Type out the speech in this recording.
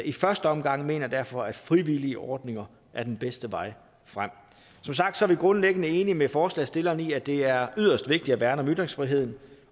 i første omgang mener jeg derfor at frivillige ordninger er den bedste vej frem som sagt er vi grundlæggende enige med forslagsstillerne i at det er yderst vigtigt at værne om ytringsfriheden